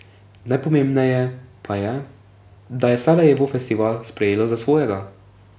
Najpomembneje pa je, da je Sarajevo festival sprejelo za svojega.